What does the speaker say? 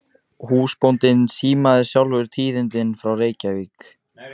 Húsbóndinn símaði sjálfur tíðindin frá Reykjavík.